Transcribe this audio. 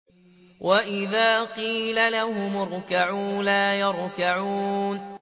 وَإِذَا قِيلَ لَهُمُ ارْكَعُوا لَا يَرْكَعُونَ